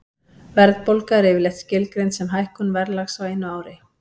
Verðbólga er yfirleitt skilgreind sem hækkun verðlags á einu ári.